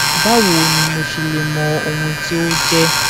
báwo ni mo ṣe lè mọ ohun tí ó jẹ